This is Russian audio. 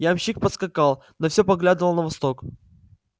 ямщик поскакал но всё поглядывал на восток